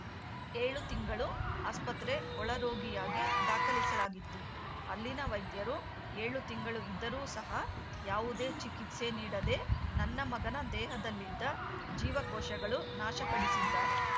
ಏಳು ತಿಂಗಳು ಆಸ್ಪತ್ರೆ ಒಳರೋಗಿಯಾಗಿ ದಾಖಲಿಸಲಾಗಿತ್ತು ಅಲ್ಲಿನ ವೈದ್ಯರು ಏಳು ತಿಂಗಳು ಇದ್ದರೂ ಸಹ ಯಾವುದೇ ಚಿಕಿತ್ಸೆ ನೀಡದೇ ನನ್ನ ಮಗನ ದೇಹದಲ್ಲಿದ್ದ ಜೀವಕೋಶಗಳು ನಾಶಪಡಿಸಿದ್ದಾರೆ